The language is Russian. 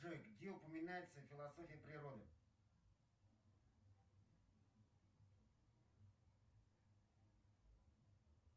джой где упоминается философия природы